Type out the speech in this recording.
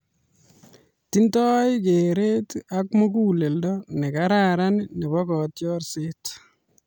Tindoi kereet ak muguleldo ne kararan nebo kotiorset.